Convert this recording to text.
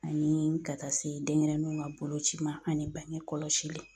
Ani ka taa se denɲɛrɛninw ka boloci ma ani bange kɔlɔsi.